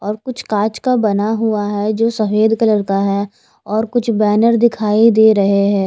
और कुछ काच का बना हुआ हे जो सफ़ेद कलर का हें और कुछ बेनर दिखाई दे रहे हैं।